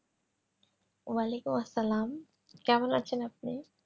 য়াআলাইকুম আসসালাম কেমন আছেন আপনি?